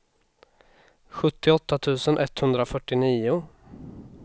sjuttioåtta tusen etthundrafyrtionio